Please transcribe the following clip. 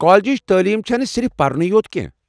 کالجٕچ تعلیم چَھنہٕ صرف پَرنوٕے اوت کینٛہہ۔